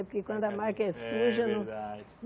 É porque quando a marca é suja não... É verdade.